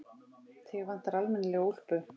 Þig vantar almennilega úlpu.